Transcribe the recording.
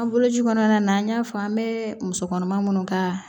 An bolo ji kɔnɔna na an y'a fɔ an bɛ muso kɔnɔma minnu ka